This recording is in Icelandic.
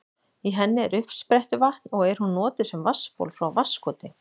Í henni er uppsprettuvatn og er hún notuð sem vatnsból frá Vatnskoti.